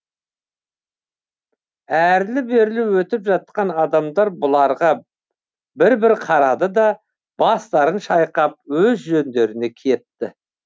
әрлі берлі өтіп жатқан адамдар бұларға бір бір қарады да бастарын шайқап өз жөндеріне кетті